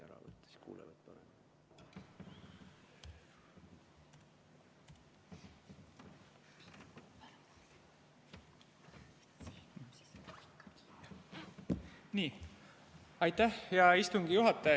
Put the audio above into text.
Aitäh, hea istungi juhataja!